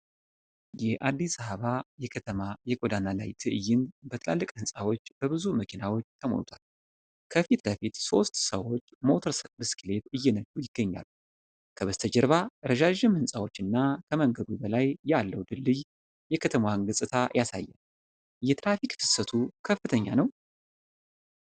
የአዲስ አበባ የከተማ የጎዳና ላይ ትዕይንት በትላልቅ ሕንፃዎችና በብዙ መኪናዎች ተሞልቷል። ከፊት ለፊት ሦስት ሰዎች ሞተር ብስክሌት እየነዱ ይገኛሉ። ከበስተጀርባ ረዣዥም ሕንፃዎች እና ከመንገዱ በላይ ያለው ድልድይ የከተማዋን ገጽታ ያሳያል። የትራፊክ ፍሰቱ ከፍተኛ ነው?